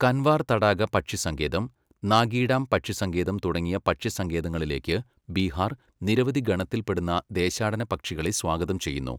കൻവാർ തടാക പക്ഷി സങ്കേതം, നാഗി ഡാം പക്ഷി സങ്കേതം തുടങ്ങിയ പക്ഷിസങ്കേതങ്ങളിലേക്ക് ബീഹാർ നിരവധി ഗണത്തിൽ പെടുന്ന ദേശാടന പക്ഷികളെ സ്വാഗതം ചെയ്യുന്നു.